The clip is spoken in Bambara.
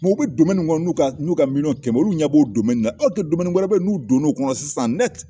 u bɛ min kɔnɔ n'u ka miliyɔn kɛmɛ ye olu ɲɛb'o na wɛrɛ bɛ n'u donn'o kɔnɔ sisan